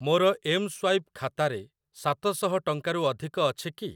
ମୋର ଏମ୍‌ସ୍ୱାଇପ୍‌ ଖାତାରେ ସାତ ଶହ ଟଙ୍କାରୁ ଅଧିକ ଅଛି କି?